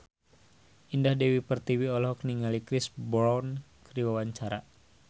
Indah Dewi Pertiwi olohok ningali Chris Brown keur diwawancara